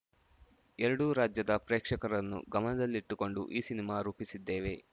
ಎರಡೂ ರಾಜ್ಯದ ಪ್ರೇಕ್ಷಕರನ್ನು ಗಮನದಲ್ಲಿಟ್ಟುಕೊಂಡು ಈ ಸಿನಿಮಾ ರೂಪಿಸಿದ್ದೇವೆ